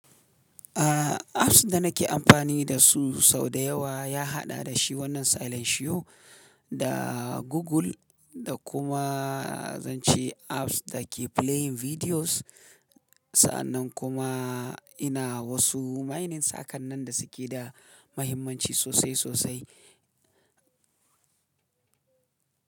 A apps da nake amfani da su sau da yawa ya haɗa da shi wannan Silentio da Google da kuma zan ce apps da ke playing videos. Sa'annan kuma ina wasu mining saƙannan da suke da mahimmanci sosai sosai.